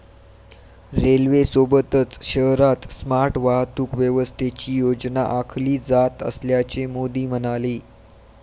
रेल्वेसोबतच शहरात स्मार्ट वाहतूक व्यवस्थेची योजना आखली जात असल्याचे मोदी म्हणाले.